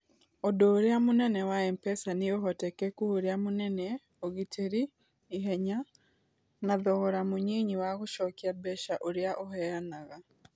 Ũndũ ũrĩa mũnene wa M-PESA nĩ ũhotekeku ũrĩa mũnene, ũgitĩri, ihenya, na thogora mũnyinyi wa gũcokia mbeca ũrĩa ũheanaga.